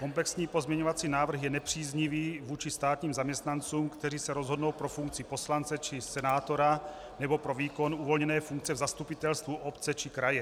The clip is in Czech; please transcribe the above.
Komplexní pozměňovací návrh je nepříznivý vůči státním zaměstnancům, kteří se rozhodnou pro funkci poslance či senátora nebo pro výkon uvolněné funkce v zastupitelstvu obce či kraje.